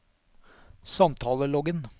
samtaleloggen